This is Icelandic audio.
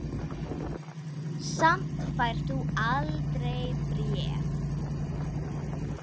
Samt færð þú aldrei bréf.